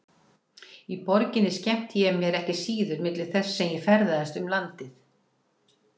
Í borginni skemmti ég mér ekki síður milli þess sem ég ferðaðist um landið.